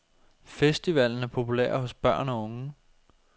Festivalen er populær hos børn og unge.